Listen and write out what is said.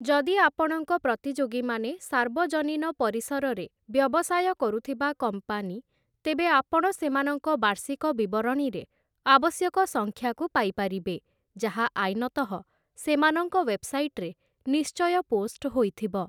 ଯଦି ଆପଣଙ୍କ ପ୍ରତିଯୋଗୀମାନେ ସାର୍ବଜନୀନ ପରିସରରେ ବ୍ୟବସାୟ କରୁଥିବା କମ୍ପାନୀ, ତେବେ ଆପଣ ସେମାନଙ୍କ ବାର୍ଷିକ ବିବରଣୀରେ ଆବଶ୍ୟକ ସଂଖ୍ୟାକୁ ପାଇପାରିବେ, ଯାହା ଆଇନତଃ ସେମାନଙ୍କ ୱେବ୍‌ସାଇଟ୍‌ରେ ନିଶ୍ଟୟ ପୋଷ୍ଟ ହୋଇଥିବ ।